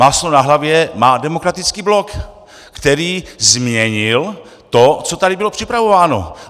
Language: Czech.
Máslo na hlavě má Demokratický blok, který změnil to, co tady bylo připravováno.